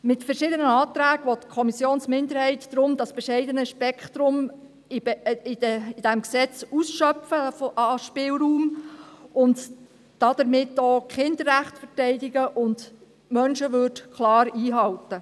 Mit verschiedenen Anträgen will die Kommissionsminderheit deshalb den bescheidenen Spielraum in diesem Gesetz ausschöpfen und damit auch die Kinderrechte klar einhalten und die Menschenwürde verteidigen.